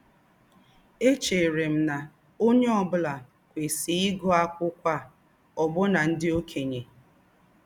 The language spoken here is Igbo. Échẹ̀rè m nà ǒnyẹ́ ọ̀ bụ́là kwesíè ígụ́ ákwụ́kwọ́ à — ọ́bụ́nà ndí́ ọ̀kènye.